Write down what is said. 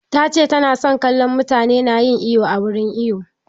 Ta ce ta na son kallon mutane na yin iwo a wurin iwo